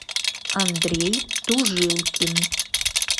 андрей тужилкин